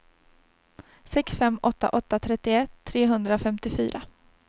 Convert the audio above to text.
sex fem åtta åtta trettioett trehundrafemtiofyra